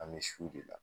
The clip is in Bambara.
An bɛ su de la